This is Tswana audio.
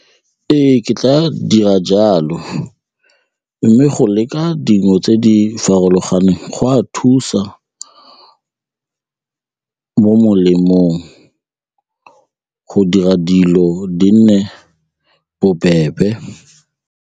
Ee, ke tla dira jalo mme go leka dijo tse di farologaneng go a thusa mo molemong go dira dilo di nne bobebe.